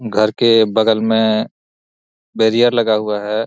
घर के बगल में बैरियर लगा हुआ है।